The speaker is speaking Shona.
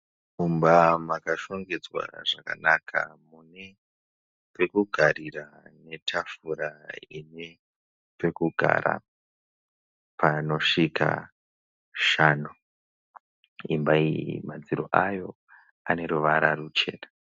Mumba makashongedzwa zvakanaka mune pekugarira netafura ine pekugara panosvika shanu. Imba iyi madziro ayo aneruvara ruchena